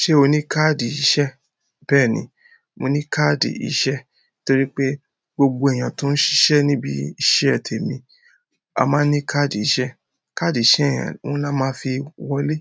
Ṣé o ní káàdì iṣẹ́? Bẹ́ẹ̀ni, mo ní káàdì iṣẹ́ torí pé gbogbo èèyàn tó ń ṣiṣẹ́ níbi iṣẹ́ tèmi, a máa ń ní káàdì iṣẹ́. Káàdì iṣẹ́ yẹn òun lá máa fi wọlé.